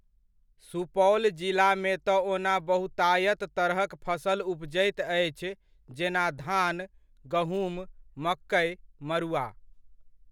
सुपौल जिलामे तऽ ओना बहुतायत तरहक फसल उपजैत अछि जेना धान, गहुँम, मकै, मड़ुआ।